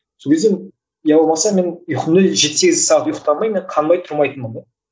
сол кезде иә болмаса мен ұйқыны жеті сегіз сағат ұйқтамай мен қанбай тұрмайтынмын да